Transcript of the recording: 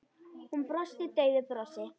Hún brosti daufu brosi.